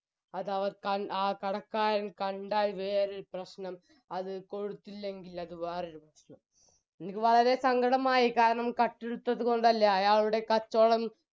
അതവർ ആ കടക്കാർ കണ്ടാൽ വേറൊരു പ്രശ്നം അത് കൊടുത്തില്ലെങ്കിൽ അത് വേറൊരു പ്രശ്നം എനിക്ക് വളരെ സങ്കടമായി കാരണം കട്ടെടുത്തത് കൊണ്ടല്ല അയാളുടെ കച്ചോടം